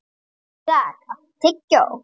Ísak, áttu tyggjó?